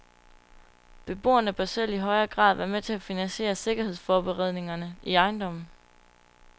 Beboerne bør selv i højere grad være med til at finansiere sikkerhedsforbedringerne i ejendommen.